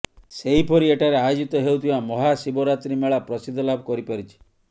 ସେହିପରି ଏଠାରେ ଆୟୋଜିତ ହେଉଥିବା ମହାଶିବରାତ୍ରୀ ମେଳା ପ୍ରସିଦ୍ଧି ଲାଭ କରିପାରିଛି